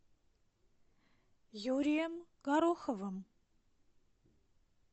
юрием гороховым